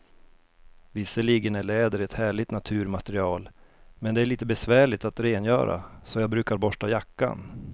Visserligen är läder ett härligt naturmaterial, men det är lite besvärligt att rengöra, så jag brukar borsta jackan.